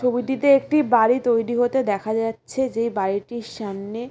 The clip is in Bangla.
ছবিতে একটি বাড়ি তৈরি হতে দেখা যাচ্ছে যেই বাড়িটির সামনে--